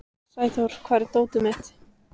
Sæþór, hvar er dótið mitt?